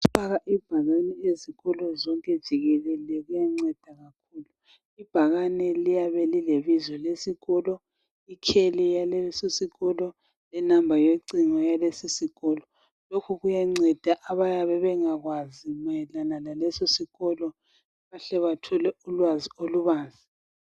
ukufaka ibhakane ezikolo zonke jikelele kuyanceda ibhakane liyabe lilebizo lesikolo ikheli yaleso sikolo le number yocingo yalesi sikolo lokhu kuyanceda abayabe bengakwazi leso sikolo bahle bathole ulwazi olubanzi